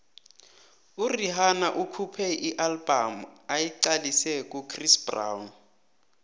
urhihana ukhuphe ialbum ayiqalise kuchris brown